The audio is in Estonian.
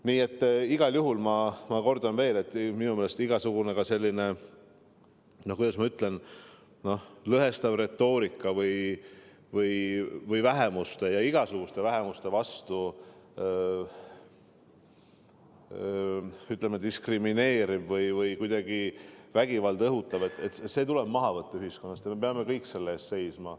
Nii et ma kordan veel: minu meelest igasugune selline, kuidas ma ütlen, lõhestav retoorika või vähemuste, igasuguseid vähemusi diskrimineeriv või kuidagi vägivalda õhutav suhtumine tuleb ühiskonnas maha võtta ja me kõik peame selle eest seisma.